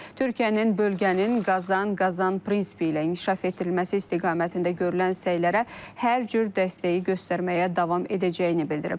Türkiyənin bölgənin qazan-qazan prinsipi ilə inkişaf etdirilməsi istiqamətində görülən səylərə hər cür dəstəyi göstərməyə davam edəcəyini bildirib.